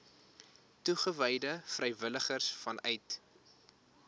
toegewyde vrywilligers vanuit